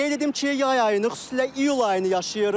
Qeyd edim ki, yay ayını, xüsusilə iyul ayını yaşayırıq.